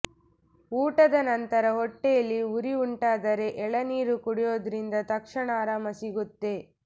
ಊಟದ ನಂತರ ಹೊಟ್ಟೆಲಿ ಉರಿ ಉಂಟಾದರೆ ಎಳನೀರು ಕುಡಿಯೋದ್ರಿಂದ ತಕ್ಷಣ ಆರಾಮ ಸಿಗುತ್ತೆ